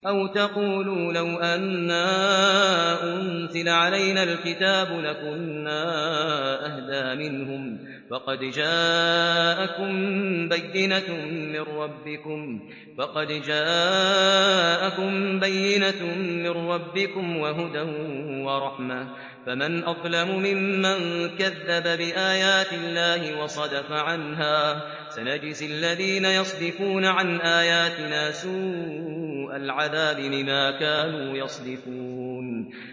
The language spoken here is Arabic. أَوْ تَقُولُوا لَوْ أَنَّا أُنزِلَ عَلَيْنَا الْكِتَابُ لَكُنَّا أَهْدَىٰ مِنْهُمْ ۚ فَقَدْ جَاءَكُم بَيِّنَةٌ مِّن رَّبِّكُمْ وَهُدًى وَرَحْمَةٌ ۚ فَمَنْ أَظْلَمُ مِمَّن كَذَّبَ بِآيَاتِ اللَّهِ وَصَدَفَ عَنْهَا ۗ سَنَجْزِي الَّذِينَ يَصْدِفُونَ عَنْ آيَاتِنَا سُوءَ الْعَذَابِ بِمَا كَانُوا يَصْدِفُونَ